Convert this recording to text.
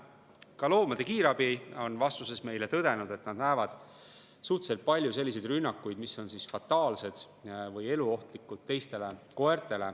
Ka loomade kiirabi on vastuses meile tõdenud, et nad näevad suhteliselt palju selliseid rünnakuid, mis on olnud teistele koertele fataalsed või eluohtlikud.